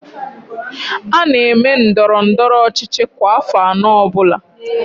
A na-eme ndọrọndọrọ ọchịchị kwa afọ anọ ọbụla